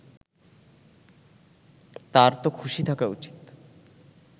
তারতো খুশি থাকা উচিত